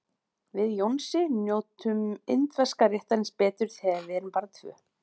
Við Jónsi njótum indverska réttarins betur þegar við erum bara tvö.